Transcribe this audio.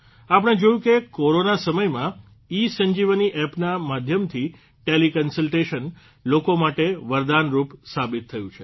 આપણે જોયું કે કોરોના સમયમાં ઇસંજીવની એપના માધ્યમથી ટેલીકન્સલટેશન લોકો માટે વરદાનરૂપ સાબીત થયું છે